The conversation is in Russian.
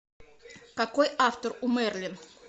какой автор у мерлин